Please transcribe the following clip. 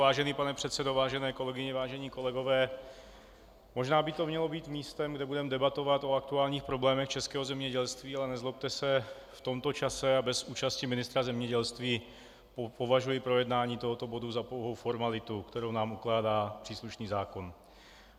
Vážený pane předsedo, vážené kolegyně, vážení kolegové, možná by to mělo být místem, kde budeme debatovat o aktuálních problémech českého zemědělství, ale nezlobte se, v tomto čase a bez účasti ministra zemědělství považuji projednání tohoto bodu za pouhou formalitu, kterou nám ukládá příslušný zákon.